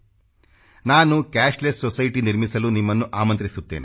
ನಾನು cashless society ನಿರ್ಮಿಸಲು ನಿಮ್ಮನ್ನು ಆಮಂತ್ರಿಸುತ್ತೇನೆ